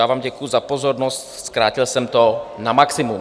Já vám děkuji za pozornost, zkrátil jsem to na maximum.